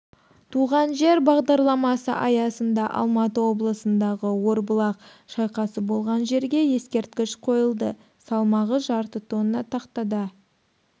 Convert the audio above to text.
туған жер бағдарламасы аясында алматы облысындағы орбұлақ шайқасы болған жерге ескерткіш қойылды салмағы жарты тонна тақтада